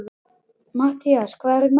Mathías, hvað er í matinn?